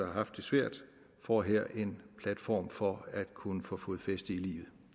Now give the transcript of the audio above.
har haft det svært får her en platform for at kunne få fodfæste i livet